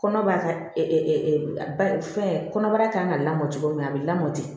Kɔnɔbara ka ba fɛn kɔnɔbara kan ka lamɔ cogo min a bɛ lamɔ ten